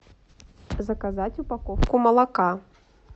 заказать упаковку молока